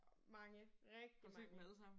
Mange! Rigtig mange